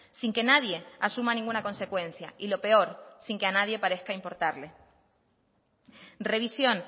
sin que nadie asuma ninguna consecuencia y lo peor sin que a nadie parezca impórtale revisión